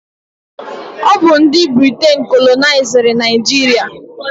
Ọ bụ ndị Briten kolonaiziri Naijiria.